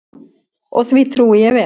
Og því trúi ég vel.